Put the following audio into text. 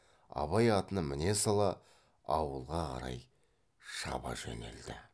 абай атына міне сала ауылға қарай шаба жөнелді